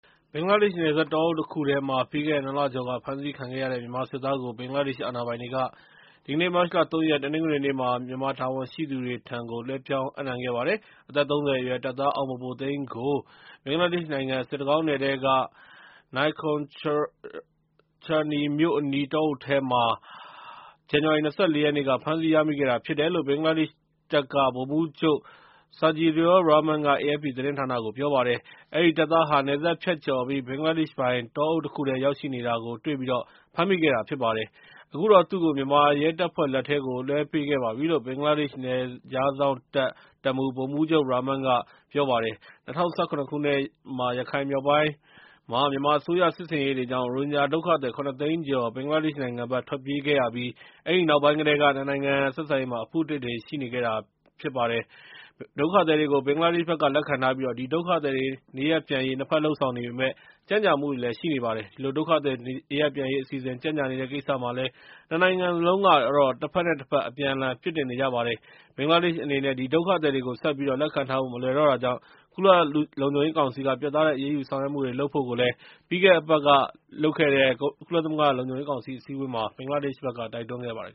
ဘင်္ဂလားဒေ့ရ်ှနယ်စပ်က တောအုပ်တခုထဲမှာ ပြီးခဲ့တဲ့နှစ်လကျော်က ဖမ်းဆီးခံခဲ့ရတဲ့ မြန်မာစစ်သားကို ဘင်္ဂလားဒေ့ရ်ှအာဏာပိုင်တွေက ဒီကနေ့ မတ်လ ၃ ရက် တနင်္ဂနွေနေ့မှာ မြန်မာတာဝန်ရှိသူတွေထံ လွဲှပြောင်း အပ်နှံခဲ့ပါတယ်။ အသက် ၃၀ အရွယ် တပ်သား အောင်ဘိုဘိုသိန်းကို ဘင်္ဂလားဒေ့ရ်ှနိုင်ငံ စစ်တကောင်း နယ်ထဲက Naikhongchhari မြို့အနီး တောအုပ်ထဲမှာ ဇန်နဝါရီလ ၂၄ ရက်နေ့က ဖမ်းဆီးရမိခဲ့တာဖြစ်တယ်လို့ ဘင်္ဂလားဒေ့ရ်ှတပ်က ဗိုလ်မှူးချုပ် Sajedur Rahman က AFP သတင်းဌာနကို ပြောပါတယ် ။ “ အဲဒီ တပ်သားဟာ နယ်စပ်ဖြတ်ကျော်ပြီး ဘင်္ဂလားဒေရ်ှပိုင် တောအုပ်တခုထဲ ရောက်ရှိနေတာကို တွေ့ပြီး ဖမ်းမိခဲ့တာပါ၊ အခုတော့ သူ့ကို မြန်မာရဲတပ်ဖွဲ့ လက်ထဲကို လွဲှပေးခဲ့ပါပြီ"လို့ ဘင်္ဂလားဒေ့ရ်ှ နယ်ခြားစောင့်တပ် တပ်မှူး ဗိုလ်မှူးချုပ် Rahman က ပြောပါတယ်။ ၂၀၁၇ ခုနှစ် ရခိုင်မြောက်ပိုင်းမှာ မြန်မာအစိုးရ စစ်ဆင်ရေးတွေကြောင့် ရိုဟင်ဂျာဒုက္ခသည် ၇ သိန်းကျော် ဘင်္ဂလားဒေ့ရ်ှနိုင်ငံဖက် ထွက်ပြေးခဲ့ရပြီး အဲဒီနောက်ပို်င်းကတည်းက နှစ်နိုင်ငံ ဆက်ဆံရေးမှာ အဖုအထစ်တွေ ရှိနေပါတယ်။ ဒုက္ခသည်တွေကို ဘင်္ဂလားဒေ့ရ်ှဖက်က လက်ခံထားပြီး၊ ဒီ ဒုက္ခသည်တွေ နေရပ်ပြန်ရေး နှစ်ဖက် လုပ်ဆောင်နေပေမယ့် ကြန့်ကြာမှုတွေရှိနေပါတယ်။ ဒီလို ဒုက္ခသည်နေရပ်ပြန်ရေးအစီအစဉ် ကြန့်ကြာနေတဲ့ကိစ္စမှာလည်း နှစ်နိုင်ငံစလုံးက တဖက်နဲ့တဖက် အပြန်အလှန်အပြစ်တင်နေကြတာပါ။ ဘင်္ဂလားဒေ့ရ်ှအနေနဲ့ ဒီ ဒုက္ခသည်တွေကို ဆက်ပြီး လက်ခံထားဖို့ မလွယ်တော့တာကြောင့်၊ ကုလ လုံခြုံရေးကောင်စီက ပြတ်သားတဲ့ အရေးယူဆောင်ရွက်မှုလုပ်ဖို့ကိုလည်း ပြီးခဲ့တဲ့ အပတ်ကလုပ်တဲ့ ကုလသမဂ္ဂလုံခြုံရေးကောင်စီအစည်းအဝေးမှာ ဘင်္ဂလားဒေ့ရ်ှဖက်က တိုက်တွန်းနေပါတယ်